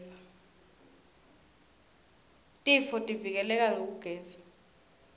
tifotivike leka ngekugeza